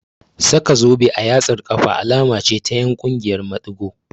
Saka zobe a yatsar ƙafa alama ce ta ƴan ƙungiyar maɗigo